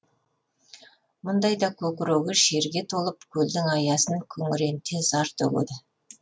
мұндайда көкірегі шерге толып көлдің аясын күңіренте зар төгеді